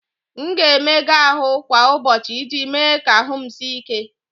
M ga-emega ahụ kwa ụbọchị iji mee ka ahụ m sie ike.